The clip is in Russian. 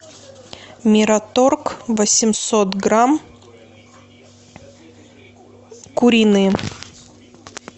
мираторг восемьсот грамм куриные